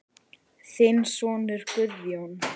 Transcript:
Þinn sonur Guðjón.